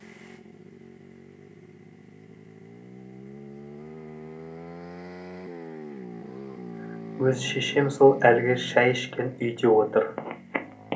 өз шешем сол әлгі шай ішкен үйде отыр